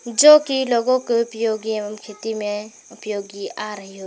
जो कि लोगों को उपयोगी एवं खेती में उपयोगी आ रही हो।